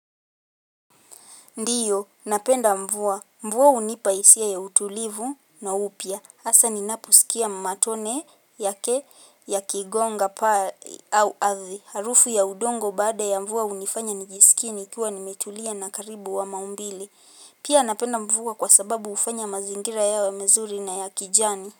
Ndiyo, napenda mvua. Mvua hunipa hisia ya utulivu na upya. Hasa ninaposikia matone yake yakigonga paa au ardhi. Harufu ya udongo baada ya mvua hunifanya nijisikie nikiwa nimetulia na karibu wa maumbile. Pia napenda mvua kwa sababu hufanya mazingira yawe mazuri na ya kijani.